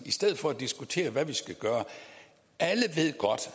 i stedet for at diskutere hvad vi skal gøre alle ved godt